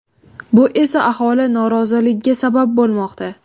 Bu esa aholi noroziligiga sabab bo‘lmoqda.